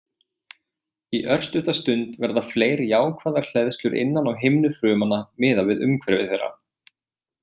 Í örstutta stund verða fleiri jákvæðar hleðslur innan á himnu frumnanna miðað við umhverfi þeirra.